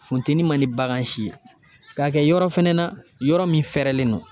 Funteni man di bagan si ye. Ka kɛ yɔrɔ fɛnɛ na, yɔrɔ min fɛɛrɛlen don.